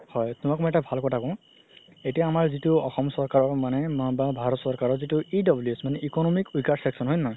হয় তুমাক মই এটা ভাল কথা কও এতিয়া আমৰ যিতো অসম চৰকাৰ মানে বা ভাৰত চৰকাৰৰ যিতো EWS economic weaker section হয় নে নহয়